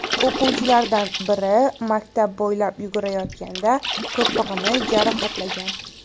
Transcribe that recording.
O‘quvchilardan biri maktab bo‘ylab yugurayotganda to‘pig‘ini jarohatlagan.